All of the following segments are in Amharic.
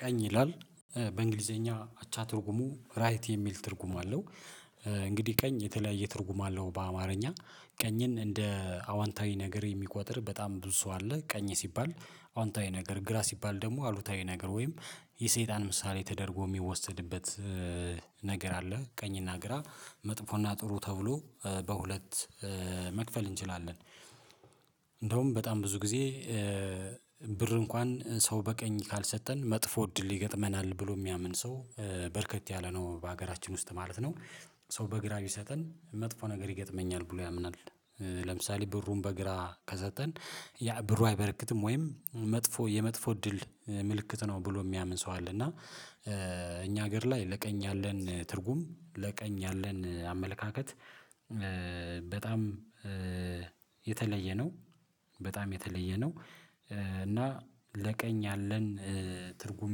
ቀኝ ይላል በእንግሊዘኛ አቻ ትርጉሙ ራይት የሚል ትርጉም አለው። እንግዲህ ቀኝ የተለያየ ትርጉም አለው በአማርኛ ቀኝን እንደ አዋንታዊ ነገር የሚቆጥር በጣም ብዙ ሰው አለ። ቀኝ ሲባል አዎንታዊ ነገር ግራ ሲባል ደግሞ አሉታዊ ነገር ወይም የሰይጣን ምሳሌ ተደርጎ የሚወሰድበት ነገር አለ። ቀኝና ግራ መጥፎና ጥሩ ተብሎ በሁለት መክፈል እንችላለን። እንደውም በጣም ብዙ ጊዜ ብር እንኳን ሰው በቀኝ ካልሰጠን መጥፎ እድል ይገጥመናል ብሎ የሚያምን ሰው በርከት ያለ ነው በሀገራችን ውስጥ ማለት ነው። ሰው በግራ ቢሰጠን መጥፎ ነገር ይገጥመኛል ብሎ ያምናል። ለምሳሌ ብሩን በግራ ከሰጠን ያ ብሩ አይበርክትም ወይም መጥፎ የመጥፎ እድል ምልክት ነው ብሎ የሚያምን ሰው አለ። እና እኛ ሀገር ላይ ለቀኝ ያለን ትርጉም ለቀኝ ያለን አመለካከት በጣም የተለየ ነው። በጣም የተለየ ነው። እና ለቀኝ ያለን ትርጉም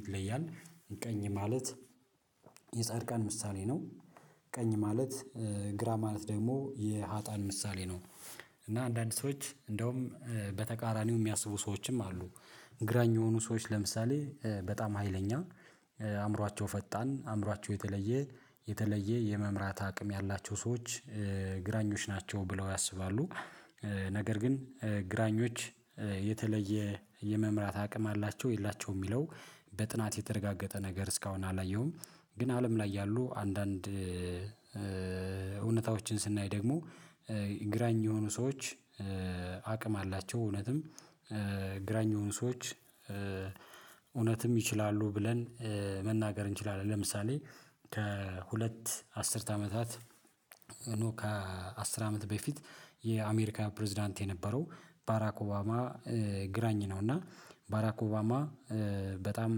ይለያል ቀኝ ማለት የጻድቃን ምሳሌ ነው። ቀኝ ማለት ግራ ማለት ደግሞ የሀጣን ምሳሌ ነው። እና አንዳንድ ሰዎች እንደውም በተቃራኒው የሚያስቡ ሰዎችም አሉ ግራኝ የሆኑ ሰዎች ለምሳሌ በጣም ሀይለኛ አእምሯቸው ፈጣን አእምሯቸው የተለየ የተለየ የመምራት አቅም ያላቸው ሰዎች ግራኞች ናቸው ብለው ያስባሉ። ነገር ግን ግራኞች የተለየ የመምራት አቅም አላቸው የላቸውም የሚለው በጥናት የተረጋገጠ ነገር እስካሁን አላየሁም። ግን አለም ላይ ያሉ አንዳንድ ስናይ ደግሞ ግራኝ የሆኑ ሰዎች አቅም አላቸው እውነትም ግራኝ የሆኑ ሰዎች እውነትም ይችላሉ ብለን መናገር እንችላለን። ለምሳሌ ከሁለት አስርት አመታት ኖ ከአስር አመት በፊት የአሜሪካ ፕሬዝዳንት የነበረው ባራክ ኦባማ ግራኝ ነው እና ባራክ ኦባማ በጣም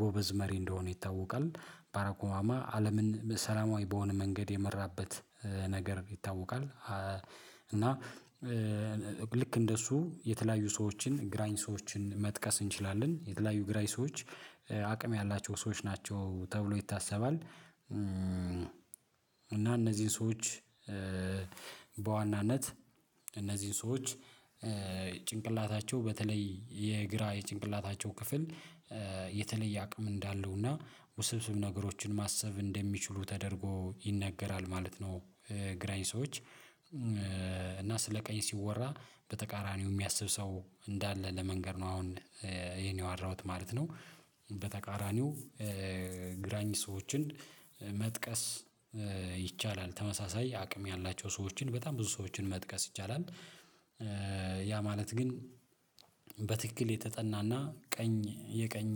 ጎበዝ መሪ እንደሆነ ይታወቃል። ባራኮማማ አለምን ሰላማዊ በሆነ መንገድ የመራበት ነገር ይታወቃል። እና ልክ እንደሱ የተለያዩ ሰዎችን ግራኝ ሰዎችን መጥቀስ እንችላለን የተለያዩ ግራኝ ሰዎች አቅም ያላቸው ሰዎች ናቸው ተብሎ ይታሰባል። እና እነዚህን ሰዎች በዋናነት እነዚህን ሰዎች ጭንቅላታቸው በተለይ የግራ የጭንቅላታቸው ክፍል የተለየ አቅም እንዳለውና ውስብስብ ነገሮችን ማሰብ እንደሚችሉ ተደርጎ ይነገራል ማለት ነው። ግራኝ ሰዎች እና ስለ ቀኝ ሲወራ በተቃራኒው የሚያስብ ሰው እንዳለ ለመንገር ነው አሁን ይሄን ያዋራሁት ማለት ነው። በተቃራኒው ግራኝ ሰዎችን መጥቀስ ይቻላል ተመሳሳይ አቅም ያላቸው ሰዎችን በጣም ብዙ ሰዎችን መጥቀስ ይቻላል። ያ ማለት ግን በትክክል የተጠናና ቀኝ የቀኝ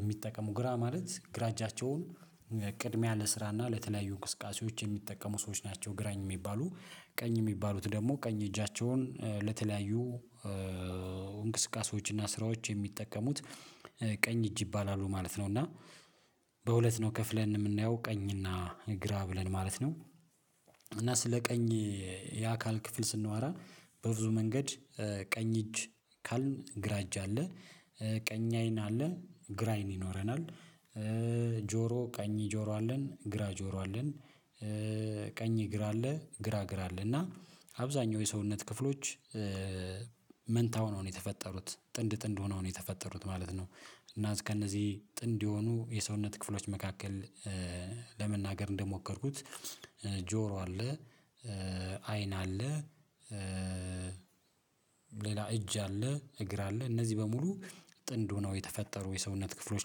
የሚጠቀሙ ግራ ማለት ግራ እጃቸውን ቅድሚያ ለስራና ለተለያዩ እንቅስቃሴዎች የሚጠቀሙ ሰዎች ናቸው ግራኝ የሚባሉ ቀኝ የሚባሉት ደግሞ ቀኝ እጃቸውን ለተለያዩ እንቅስቃሴዎችና ስራዎች የሚጠቀሙት ቀኝ እጅ ይባላሉ ማለት ነው። እና በሁለት ነው ከፍለን የምናየው ቀኝና ግራ ብለን ማለት ነው። እና ስለ ቀኝ የአካል ክፍል ስንዋራ በብዙ መንገድ ቀኝ እጅ ካልን ግራ እጅ አለ ቀኝ አይን አለ ግራ አይን ይኖረናል ጆሮ ቀኝ ጆሮ አለን ግራ ጆሮ አለን ቀኝ እግር አለ ግራ እግር አለ እና አብዛኛው የሰውነት ክፍሎች መንታ ሆነው ነው የተፈጠሩት ጥንድ ጥንድ ሆነው ነው የተፈጠሩት ማለት ነው። እና እስከነዚህ ጥንድ የሆኑ የሰውነት ክፍሎች መካከል ለመናገር እንደሞከርኩት ጆሮ አለ አይን አለ ሌላ እጅ አለ እግር አለ እነዚህ በሙሉ ጥንድ ሆነው የተፈጠሩ የሰውነት ክፍሎች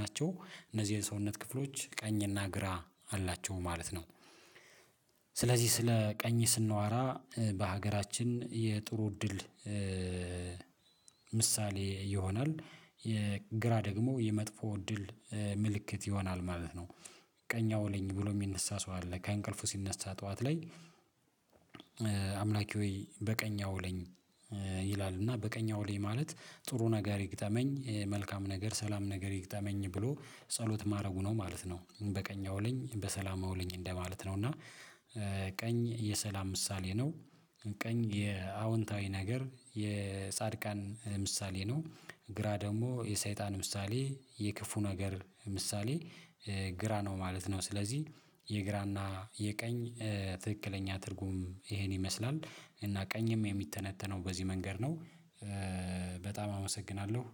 ናቸው እነዚህ የሰውነት ክፍሎች ቀኝና ግራ አላቸው ማለት ነው። ስለዚህ ስለ ቀኝ ስንዋራ በሀገራችን የጥሩ እድል ምሳሌ ይሆናል የግራ ደግሞ የመጥፎ እድል ምልክት ይሆናል ማለት ነው። ቀኝ አውለኝ ብሎ የሚነሳ ሰው አለ ከእንቅልፉ ሲነሳ ጠዋት ላይ አምላኪ ሆይ በቀኝ አውለኝ ይላል እና በቀኝ አውለኝ ማለት ጥሩ ነገር ይግጠመኝ መልካም ነገር ሰላም ነገር ይግጠመኝ ብሎ ጸሎት ማድረጉ ነው ማለት ነው። በቀኝ አውለኝ በሰላም አውለኝ እንደማለት ነው እና ቀኝ የሰላም ምሳሌ ነው። ቀኝ የአዎንታዊ ነገር የጻድቃን ምሳሌ ነው። ግራ ደግሞ የሰይጣን ምሳሌ የክፉ ነገር ምሳሌ ግራ ነው ማለት ነው። ስለዚህ የግራና የቀኝ ትክክለኛ ትርጉም ይሄን ይመስላል እና ቀኝም የሚተነተነው በዚህ መንገድ ነው። በጣም አመሰግናለሁ።